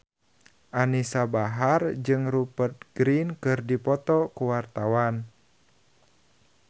Anisa Bahar jeung Rupert Grin keur dipoto ku wartawan